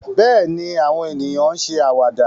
Bẹ́ẹ̀ ni, àwọn ènìyàn ń ṣe àwàdà